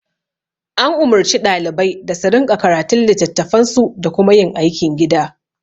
An umurci ɗalibai da su rinƙa karatun litattafansu da kuma yin aikin gida